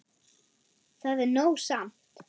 Það er nóg samt.